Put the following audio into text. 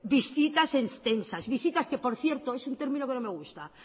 visitas extensas visitas que por cierto es un término que no me gusta